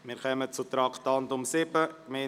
Wir kommen zum Traktandum 7: